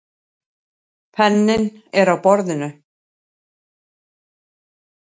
Penninn er á borðinu.